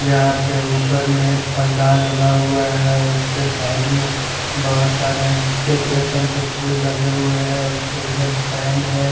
यहाँ पे उपर में पंडाल लगा हुआ हैं उसके साइड में बहोत सारे डेकोरेशन के फूल लगे हुए हैं उसके उधर फेन हैं।